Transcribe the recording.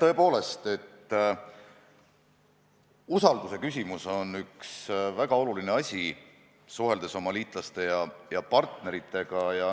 Jah, tõepoolest, usalduse küsimus on üks väga oluline asi, suheldes oma liitlaste ja partneritega.